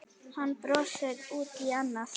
Hann brosti út í annað.